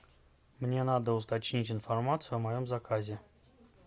мне надо уточнить информацию о моем заказе